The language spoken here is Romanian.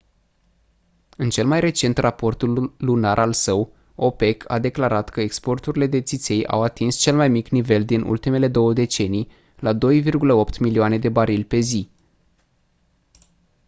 în cel mai recent raport lunar al său opec a declarat că exporturile de țiței au atins cel mai mic nivel din ultimele două decenii la 2,8 milioane de barili pe zi